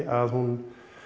að hún